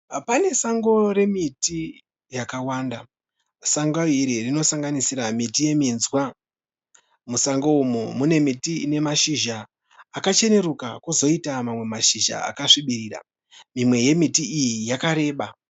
Pane sango remiti yakawanda. Sango iri rinosanganisira miti yeminzwa. Musango umu mune miti ine mashizha akachenuruka kozoita kozoita mamwe mashizha akasvibirira. Imwe yemiti iyi yakareba.